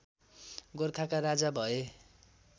गोरखाका राजा भए